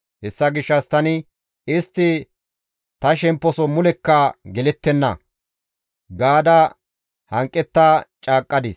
Hessa gishshas tani, ‹Istti ta shemposo mulekka gelettenna› gaada hanqetta caaqqadis.»